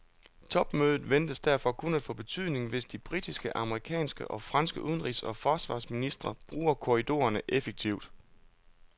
Topmødet ventes derfor kun at få betydning, hvis de britiske, amerikanske og franske udenrigs og forsvarsministre bruger korridorerne effektivt.